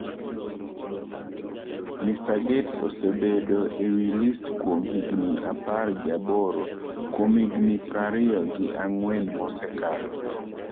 Mr Gates osebedo e wi list kuom higni apargi aboro kuom higni prariyo gi ang'wen mosekalo.